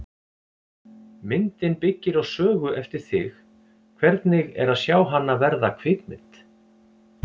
Myndin byggir á sögu eftir þig, hvernig er að sjá hana verða kvikmynd?